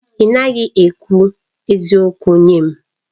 Ị naghị ekwu eziokwu nye m.